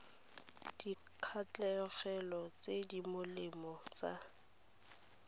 dikgatlhegelong tse di molemo tsa